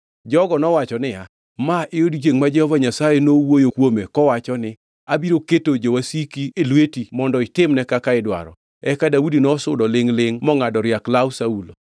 Jogo nowacho niya, “Ma e odiechiengʼ ma Jehova Nyasaye nowuoyo kuome kowacho ni, ‘Abiro keto jowasiki e lweti mondo itimne kaka idwaro!’ ” Eka Daudi nosudo lingʼ-lingʼ mongʼado riak law Saulo.